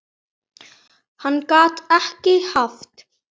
Hann gat ekki haft